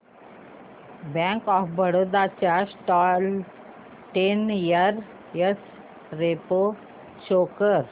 bank of Baroda च्या stock चा ten year x ray pro show कर